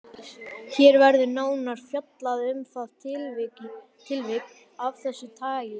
Hér verður nánar fjallað um það tilvik af þessu tagi.